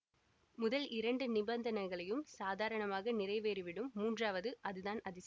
முதல் இரண்டு நிபந்தனைகளையும் சாதாரணமாக நிறைவேறி விடும் மூன்றாவது அதுதான் அதிசயம்